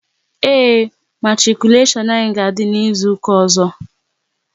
Ee, matikuleshon anyị ga-adị n'izuka ọzọ